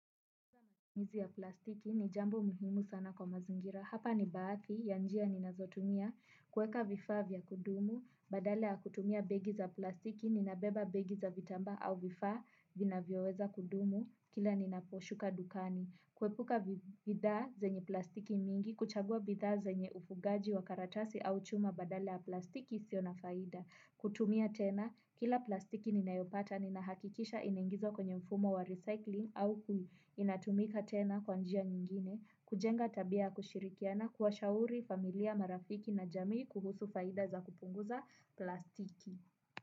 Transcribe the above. Mizi ya plastiki ni jambo muhimu sana kwa mazingira. Hapa ni baathi ya njia ninazo tumia kueka vifaa vya kudumu, badala ya kutumia begi za plastiki ninabeba begi za vitambaa au vifaa vinavyoweza kudumu kila ninapo shuka dukani. Kuepuka bidhaa zenye plastiki mingi, kuchagua bidha zenye ufugaji wa karatasi au chuma badala ya plastiki isio na faida. Kutumia tena, kila plastiki nina yopata ni nahakikisha inaingizwa kwenye mfumo wa recycling au inatumika tena kwanjia nyingine. Kujenga tabia ya kushirikiana kuwa shauri familia marafiki na jamii kuhusu faida za kupunguza plastiki.